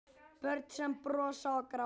Börn sem brosa og gráta.